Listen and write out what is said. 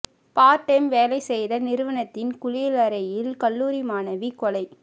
part time வேலை செய்த நிறுவனத்தின் குளியலறையில் கல்லூரி மாணவி கொலை